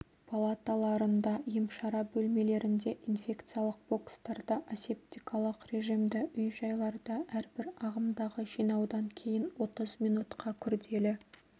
палаталарында емшара бөлмелерінде инфекциялық бокстарда асептикалық режимді үй-жайларда әрбір ағымдағы жинаудан кейін отыз минутқа күрделі